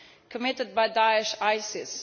committed by Daesh ISIS.